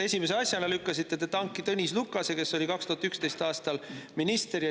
Esimese asjana lükkasite te tanki Tõnis Lukase, kes oli 2011. aastal minister.